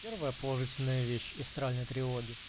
первая положительная вещь истральной тревоги